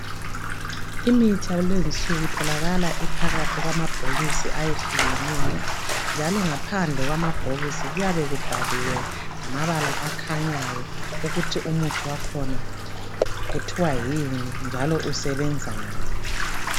Imithi yakulezi insuku itholakal iphakathi kwamabhokisi ayehlukeneyo njalo ngaphandle kwamabhokisi kuyabe kubhaliwengamabala akhanyayo ukuthi umuthi wakhona kuthiwa yini njalo usebenzani